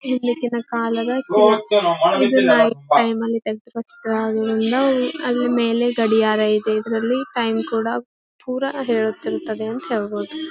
ಈ ಲಿಕಿದ ಕಾಲದ ಇದನ್ನ ಲೈಫ್ ಟೈಮ್ ಅಲ್ಲಿ ಕಲ್ಲತ್ರೆ ಅದ್ರ ಮೇಲೆ ಗಡಿಯಾರ ಇದೆ ಇದ್ರಲ್ಲಿ ಟೈಮ್ ಕೂಡ ಪುರ ಹೇಳುತ್ತಿರುತ್ತದೆ ಅಂತ ಹೇಳಬಹುದು.